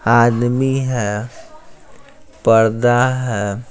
आदमी है पर्दा है।